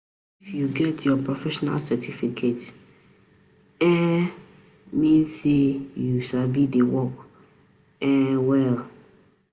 If you get your professional certificate, e um mean sey you sabi di work um well.